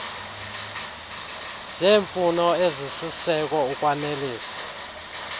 zeemfuno ezisisiseko ukwanelisa